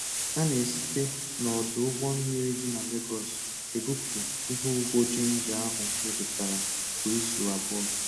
A na-esite n'ọdụ ụgbọ mmiri dị na Legọs ebupụ ihe ugbo jinja ahụ mịpụtara kwa izu abụọ.